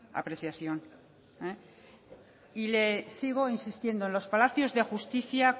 apreciación y le sigo insistiendo en los palacios de justicia